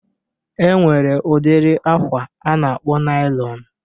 E nwere udiri akwa a na-akpọ nailọn